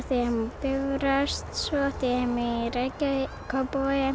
Bifröst svo átti ég heima í Reykjavík Kópavogi